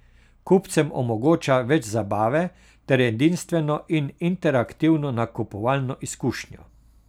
Kupcem omogoča več zabave ter edinstveno in interaktivno nakupovalno izkušnjo.